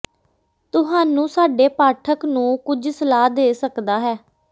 ਤੁਹਾਨੂੰ ਸਾਡੇ ਪਾਠਕ ਨੂੰ ਕੁਝ ਸਲਾਹ ਦੇ ਸਕਦਾ ਹੈ